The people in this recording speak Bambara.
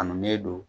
Kanu ne don